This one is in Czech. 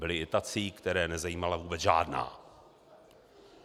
Byli i tací, které nezajímala vůbec žádná.